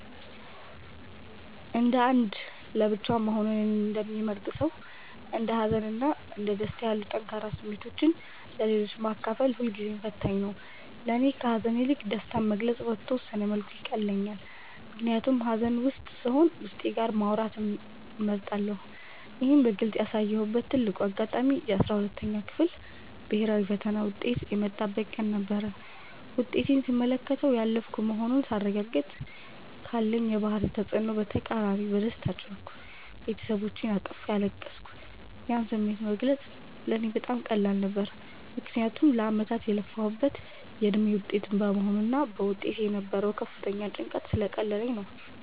እንደ አንድ ለብቻው መሆንን እንደሚመርጥ ሰው፣ እንደ ሀዘን እና ደስታ ያሉ ጠንካራ ስሜቶችን ለሌሎች ማካፈል ሁልጊዜም ፈታኝ ነው። ለእኔ ከሐዘን ይልቅ ደስታን መግለጽ በተወሰነ መልኩ ይቀለኛል፤ ምክንያቱም ሐዘን ውስጥ ስሆን ዉስጤ ጋር ማውራትን እመርጣለሁ። ይህን በግልጽ ያሳየሁበት ትልቁ አጋጣሚ የ12ኛ ክፍል ብሔራዊ ፈተና ውጤት የመጣበት ቀን ነበር። ውጤቴን ስመለከትና ያለፍኩ መሆኑን ሳረጋግጥ፤ ካለኝ የባህሪ ተጽዕኖ በተቃራኒ በደስታ ጮህኩ፤ ቤተሰቦቼንም አቅፌ አለቀስኩ። ያን ስሜት መግለጽ ለእኔ በጣም ቀላል ነበር፤ ምክንያቱም ለዓመታት የለፋሁበት የድካሜ ውጤት በመሆኑና በውስጤ የነበረው ከፍተኛ ጭንቀት ስለቀለለልኝ ነበር።